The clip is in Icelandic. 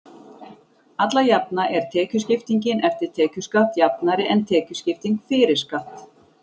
Alla jafna er tekjuskiptingin eftir tekjuskatt jafnari en tekjuskipting fyrir skatt.